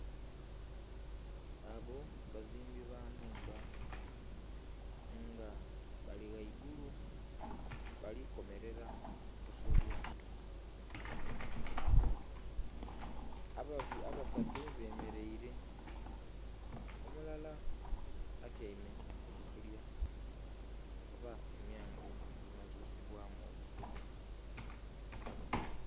Abo bazimbi ba nnhumba nga bali ghaigulu bali komelela busolya. Abasatu bemeleile, omulala atyaime ku busolya oba emyango egimaze osibwamu obusolya.